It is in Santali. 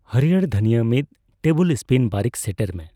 ᱦᱟᱹᱨᱭᱟᱹᱲ ᱫᱟᱷᱹᱱᱤᱭᱟᱼ ᱢᱤᱛ ᱴᱮᱵᱩᱞ ᱥᱯᱤᱱ ᱵᱟᱨᱤᱠ ᱥᱮᱸᱴᱮᱨ ᱢᱮ